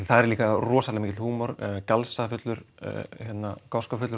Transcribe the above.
þar er líka rosalega mikill húmor